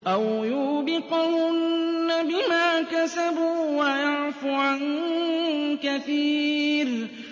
أَوْ يُوبِقْهُنَّ بِمَا كَسَبُوا وَيَعْفُ عَن كَثِيرٍ